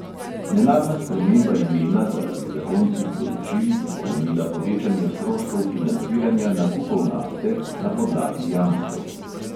Nenadna sprememba imena zaradi zakonskih določil bi pomenila povečanje stroškov financiranja nakupov nafte na podlagi jamstev.